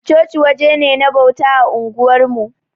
Chochi waje ne na bauta a unguwarmu.